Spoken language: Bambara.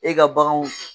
E ka baganw